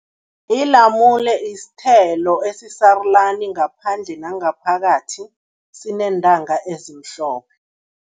Ilamule isithelo esisarulani ngaphandle nangaphakathi, sineentanga ezimhlophe.